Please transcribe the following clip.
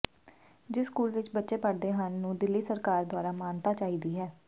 ਜਿਸ ਸਕੂਲ ਵਿੱਚ ਬੱਚੇ ਪੜ੍ਹਦੇ ਹਨ ਨੂੰ ਦਿੱਲੀ ਸਰਕਾਰ ਦੁਆਰਾ ਮਾਨਤਾ ਚਾਹੀਦੀ ਹੈ